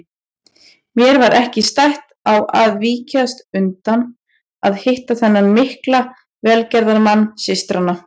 Mér var ekki stætt á að víkjast undan að hitta þennan mikla velgerðamann systranna.